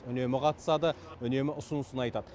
үнемі қатысады үнемі ұсынысын айтады